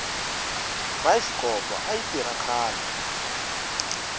bayisikopo ayi tirha khale